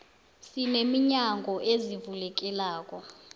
sine minyango ezivulekelako